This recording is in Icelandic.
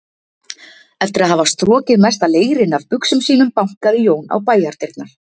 Eftir að hafa strokið mesta leirinn af buxum sínum bankaði Jón á bæjardyrnar.